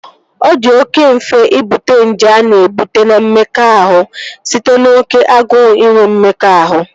Ọ di oké mfe Ịbute nje a na-ebute na mmekọahụ site n'oké agụụ inwe mmekọahụ